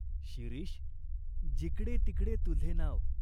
"शिरीष जिकडे तिकडे तुझे नाव.